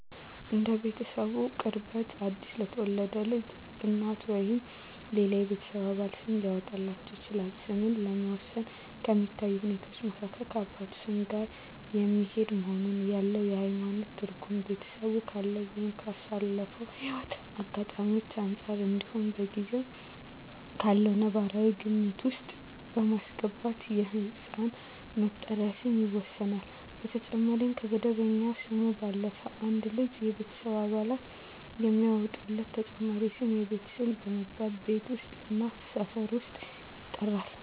እንደ ቤተሰቡ ቅርበት አዲስ ለተወለደ ልጅ እናት፣ አባት ወይም ሌላው የቤተሰብ አባል ስም ሊያወጣለት ይችላል። ስምን ለመወሰን ከሚታዩ ሁኔታወች መካከል ከአባቱ ስም ጋር የሚሄድ መሆኑን፣ ያለው የሀይማኖት ትርጉም፣ ቤተሰቡ ካለው ወይም ካሳለፈው ህይወት አጋጣሚወች አንፃር እንዲሁም በጊዜው ካለው ነባራዊ ግምት ውስጥ በማስገባት የህፃን መጠሪያ ስም ይወሰናል። በተጨማሪም ከመደበኛ ስሙ ባለፈም አንድ ልጅ የቤተሰብ አባላት የሚያወጡለት ተጨማሪ ስም የቤት ስም በመባል ቤት ውስጥ እና ሰፈር ውስጥ ይጠራበታል።